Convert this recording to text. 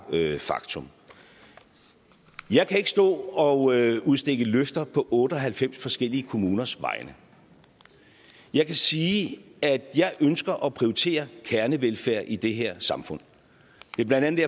faktum jeg kan ikke stå og udstikke løfter på otte og halvfems forskellige kommuners vegne jeg kan sige at jeg ønsker at prioritere kernevelfærd i det her samfund det er blandt andet